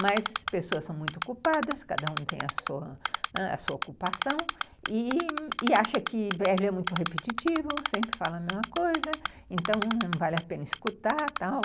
Mas as pessoas são muito ocupadas, cada um tem a sua ãh ocupação, e acha que é muito repetitivo, sempre fala a mesma coisa, então não vale a pena escutar, tal.